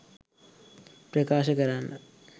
ප්‍රකාශ කරන්න.